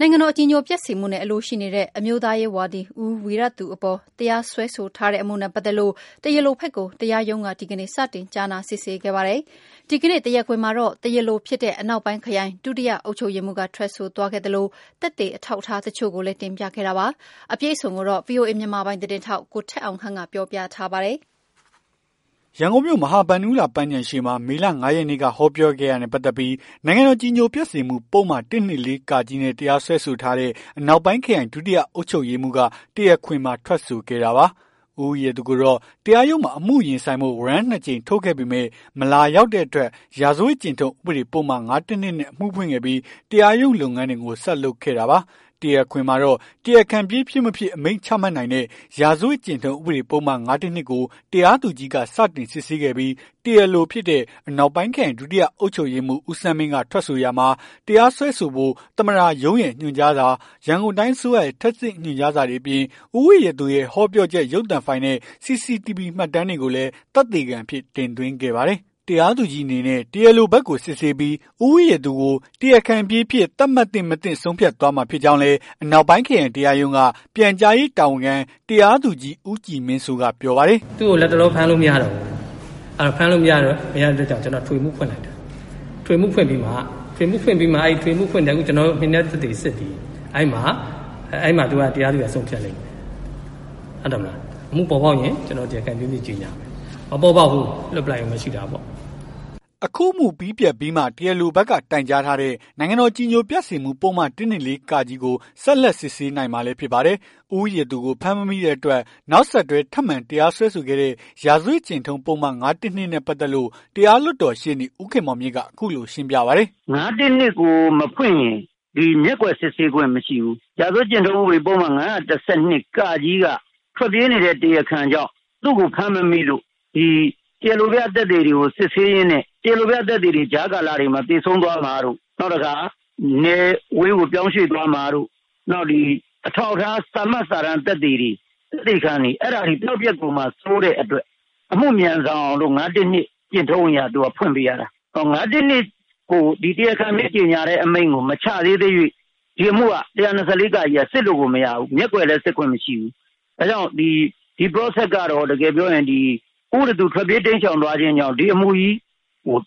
နိုင်ငံတော် အကြည်ညိုပျက်စေမှုနဲ့ အလိုရှိနေတဲ့ အမျိုးသားရေးဝါဒီ ဦးဝီရသူ အပေါ် တရားစွဲဆိုထားတဲ့ အမှုနဲ့ ပတ်သက်လို့ တရားလိုဘက်ကို တရားရုံးက ဒီကနေ့ စတင်ကြားနာ စစ်ဆေးခဲ့ပါတယ်။ ဒီကနေ့ တရားခွင်မှာတော့ တရားလိုဖြစ်တဲ့ အနောက်ပိုင်းခရိုင် ဒုတိယအုပ်ချုပ်ရေးမှူးက ထွက်ဆိုသွားခဲ့သလို၊ သက်သေ အထောက်အထား တချို့ကိုလည်း တင်ပြခဲ့တာပါ။ အပြည့်အစုံကိုတော့ ဗွီအိုအေ မြန်မာပိုင်း သတင်းထောက် ကိုထက်အောင်ခန့်က ပြောပြပေးမှာပါ။ ရန်ကုန်မြို့ မဟာဗန္ဓုလပန်းခြံရှေ့မှာ မေလ ၅ ရက်နေ့က ဟောပြောခဲ့တာနဲ့ ပတ်သက်ပြီး နိုင်ငံတော် အကြည်ညိုပျက်စေမှု ပုဒ်မ ၁၂၄ နဲ့ တရားစွဲဆိုထားတဲ့ အနောက်ပိုင်းခရိုင် ဒုတိယ အုပ်ချုပ်ရေးမှူးက တရားခွင်မှာ ထွက်ဆိုခဲ့တာပါ။ ဦးဝီရသူကိုတော့ တရားရုံးမှာ အမှုရင်ဆိုင်ဖို့ ဝရမ်း ၂ ကြိမ် ထုတ်ခဲ့ပေမယ့် မလာရောက်တဲ့ အတွက် ရာဇဝတ်ကျင့်ထုံး ဥပဒေပုဒ်မ ၅၁၂ နဲ့ အမှုဖွင့်ခဲ့ပြီး တရားရုံးလုပ်ငန်းတွေကို ဆက်လုပ်ခဲ့တာပါ။ တရားခွင်မှာတော့ တရားခံပြေးဖြစ်မဖြစ် အမိန့်ချမှတ်နိုင်တဲ့ ရာဇဝတ် ကျင့်ထုံး ဥပဒေပုဒ်မ ၅၁၂ ကို တရားသူကြီးက စတင်စစ်ဆေးခဲ့ပြီး တရားလိုဖြစ်တဲ့ အနောက်ပိုင်းခရိုင် ဒုတိယအုပ်ချုပ်ရေးမှူး ဦးဆန်းမင်းက ထွက်ဆိုရာမှာ၊ တရားစွဲဆိုဖို့ သမ္မတရုံးရဲ့ ညွှန်ကြားစာ၊ ရန်ကုန်တိုင်း အစိုးရရဲ့ ထပ်ဆင့် ညွှန်ကြားစာတွေအပြင် ဦးဝီရသူရဲ့ ဟောပြောချက် ရုပ်သံဖိုင်နဲ့ CCTV မှတ်တမ်းတွေကိုလည်း သက်သေခံအဖြစ် တင်သွင်းခဲ့ပါတယ်။ တရားသူကြီးအနေနဲ့ တရားလိုဘက်ကို စစ်ဆေးပြီး ဦးဝီရသူကို တရားခံပြေးအဖြစ် သတ်မှတ်သင့်-မသင့် ဆုံးဖြတ်သွားမှာ ဖြစ်ကြောင်းလည်း အနောက်ပိုင်း ခရိုင်တရားရုံးက ပြန်ကြားရေး တာဝန်ခံ တရားသူကြီး ဦးကြည်မင်းစိုးက ပြောပါတယ်။ "သူ့ကို လက်တလော ဖမ်းလို့မရဘူး။ လတ်တလော ဖမ်းလို့မရတဲ့အတွက် အထွေထွေအမှု ဖွင့်လိုက်တယ်။ အထွေအထွေအမှုဖွင့်ပြီးမှ အထွေထွေအမှုရဲ့ မှင်နက်သက်သေကိုစစ်တယ်။ အဲ့မှာ တရားသူကြီးက ဆုံးဖြတ် လိမ့်မယ်။ အမှုပေါ်ပေါက်ရင် တရားခံပြေးအဖြစ် ကြေညာမယ်။ မပေါ်ပေါက်ဘူး လွှတ်လိုက်ယုံပဲရှိတာပေါ့။ " အခုအမှုပြီးပြတ်ပြီးမှ တရားလိုဘက်က တိုင်ကြားထားတဲ့ နိုင်ငံတော်အကြည်ညိုပျက်စေမှုပုဒ်မ ၁၂၄ ကို ဆက်လက် စစ်ဆေးနိုင်မှာလည်း ဖြစ်ပါတယ်။ ဦးဝီရသူကို ဖမ်းမမိတဲ့အတွက် နောက်ဆက်တွဲ ထပ်မံတရားစွဲခဲ့တဲ့ ရာဇဝတ်ကျင့်ထုံး ပုဒ်မ ၅၁၂ နဲ့ ပတ်သက်လို့ တရားလွှတ်တော်ရှေ့နေ ဦးခင်မောင်မြင့်က အခုလို ရှင်းပြပါတယ်။ "၅၁၂ ကိုမဖွင့်ရင် ဒီမျက်ကွယ် စစ်ဆေးခွင့်မရှိဘူး။ ရာဇဝတ်ကျင့်ထုံးဥပဒေပုဒ်မ ၅၁၂ က ထွက်ပြေးနေတဲ့ တရားခံကြောင့် သူ့ကိုဖမ်းမမိလို့ တရားလိုပြသက်သေတွေကို စစ်ဆေးရင်းနဲ့ တရားလိုပြ သက်သေတွေဟာ ကြားကာလမှာ သေဆုံးသွားတာတို့ ၊နောက်တခါ နယ်ဝေးကို ပြောင်းရွှေ့သွားမှာတို့ နောက် အထောက်အထား စာမှတ်စာတမ်းသက်သေ သက်သေခံတွေ အဲ့ဒါတွေ ပျောက်ပျက်သွားမှာစိုးတဲ့အတွက် အမှုမြန်ဆန်အောင် ၅၁၂ ကျင့်ထုံးအရ ဖွင့်ပေးရတာ။ ၅၁၂ ကို တရားခံပြေး အမိန့်ကို ချတဲ့အမိန့်ကို မချသေးသ၍ ဒီအမှုက ၁၂၄ က စစ်လို့မရဘူး။ မျက်ကွယ်လည်း စစ်ခွင့်မရှိဘူး။ ဒါကြောင့် ဒီ Processကတော့ တကယ်ပြောရင် ဦးဝီရသူထွက်ပြေး တိမ်းရှောင်သွားခြင်းကြောင့် ဒီအမှုကြီးကို